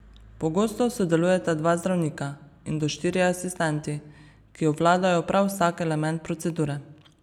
Pogosto sodelujeta dva zdravnika in do štirje asistenti, ki obvladajo prav vsak element procedure.